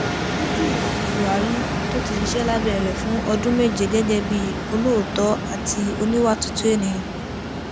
ó júwe ààrẹ buhari tó ti ṣiṣẹ lábẹ rẹ fún ọdún méje gẹgẹ bíi olóòótọ àti oníwà tútù ènìyàn